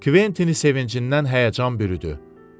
Kventini sevincdən həyəcan bürüdü.